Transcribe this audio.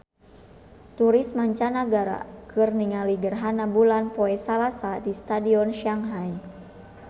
Turis mancanagara keur ningali gerhana bulan poe Salasa di Stadion Shanghai